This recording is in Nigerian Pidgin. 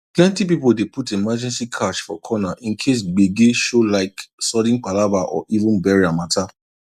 plenty people dey put emergency cash for corner in case gbege showlike sudden palava or even burial matter